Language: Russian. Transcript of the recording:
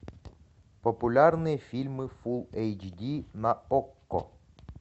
популярные фильмы фулл эйч ди на окко